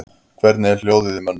Hvernig er hljóðið í mönnum?